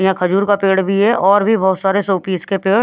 यहां खजूर का पेड़ भी है और भी बहुत सारे शोपीस के पेड़--